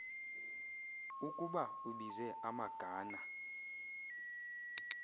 ukuba ubize amagana